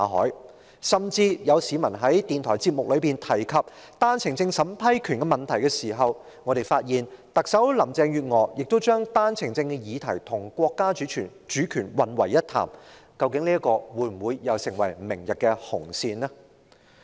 更有甚者，當有市民在電台節目中提及單程證審批權的問題時，我們聽到特首林鄭月娥將單程證的議題與國家主權混為一談，究竟這事會否成為明天的"紅線"呢？